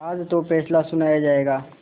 आज तो फैसला सुनाया जायगा